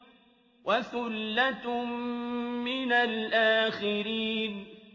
وَثُلَّةٌ مِّنَ الْآخِرِينَ